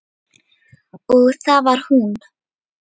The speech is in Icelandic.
Og það var hún.